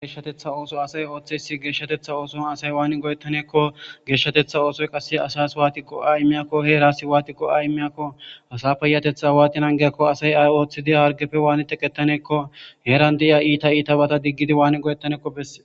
geeshshatetha ooso asay ooththeysi geeshshatetha ooson asay waani goyettaneekko geeshshatetha oosoy qasse asas waatikqo a immiyakko heerasi waatiqo a immiyakko asa peyatetha waatinangeakko asay ay ooththidi hargefe waani teqettaneekko heeran de7iya iita iita bata diggidi waani go7ettaneekko besse